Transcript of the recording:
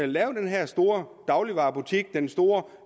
lave den her store dagligvarebutik den store